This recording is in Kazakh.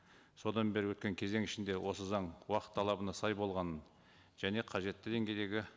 содан бері өткен кезең ішінде осы заң уақыт талабына сай болғанын және қажетті деңгейдегі